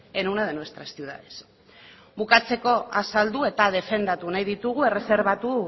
en una de nuestras ciudades bukatzeko azaldu eta defendatu nahi ditugu erreserbatu